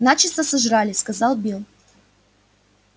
начисто сожрали сказал билл